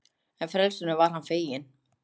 En frelsinu var hann feginn.